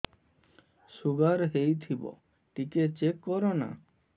sugar ହେଇଥିବ ଟିକେ check କର ନା